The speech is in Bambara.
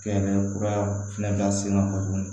Kɛ kura fɛnɛ ka senna kojugu